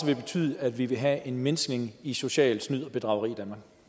det betyde at vi ville have en mindskning i socialt snyd og bedrageri